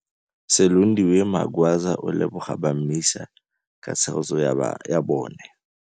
Silondiwe Magwaza o leboga ba MISA ka tshegetso ya bona.